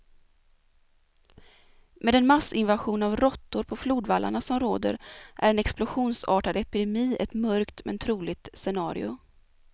Med den massinvasion av råttor på flodvallarna som råder är en explosionsartad epidemi ett mörkt, men troligt scenario.